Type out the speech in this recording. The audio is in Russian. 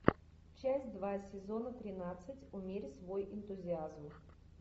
часть два сезона тринадцать умерь свой энтузиазм